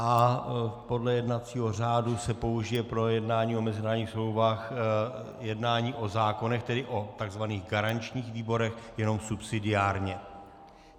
A podle jednacího řádu se použije pro jednání o mezinárodních smlouvách jednání o zákonech, tedy o tzv. garančních výborech, jenom subsidiárně.